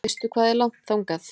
Veistu hvað er langt þangað?